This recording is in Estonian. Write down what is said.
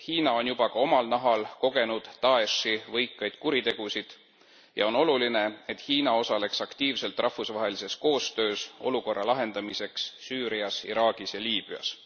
Hiina on juba ka omal nahal kogenud Da'eshi võikaid kuritegusid ja on oluline, et Hiina osaleks aktiivselt rahvusvahelises koostöös olukorra lahendamiseks Süürias, Iraagis ja Liibüas.